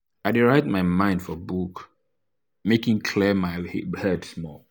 i dey write my mind for book make e clear my head small.